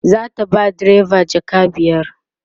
zata ba direba jaka biyar